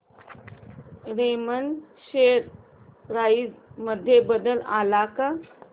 Raymond share price मध्ये बदल आलाय का